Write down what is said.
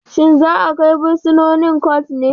Shin zaa kai bursinoni court ne?